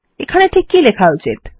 এখানে ঠিক কি লেখা উচিত